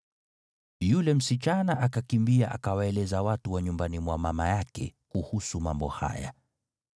Yule msichana akakimbia akawaeleza watu wa nyumbani mwa mama yake kuhusu mambo haya.